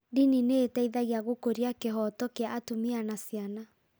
Ndini nĩ ĩteithagia gũkũria kĩhooto kĩa atumia na ciana.